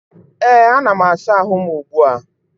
ee, ana m asa ahụ m ugbu a